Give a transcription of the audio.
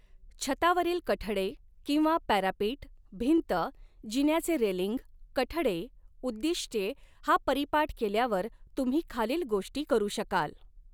छतावरील कठडे किंवा पॅरापिट भिंत जिन्याचे रेलींग कठडे उद्दिष्ट्ये हा परीपाठ केल्यावर तुम्ही खालील गोष्टी करू शकाल.